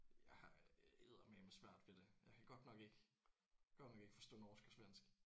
Jeg har eddermaneme svært ved det. Jeg kan godt nok ikke godt nok ikke forstå norsk og svensk